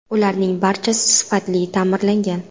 Ularning barchasi sifatli ta’mirlangan.